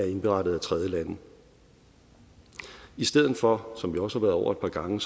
indberettet af tredjelande i stedet for som vi også været over et par gange